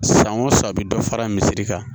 San o san a bɛ dɔ fara misiri kan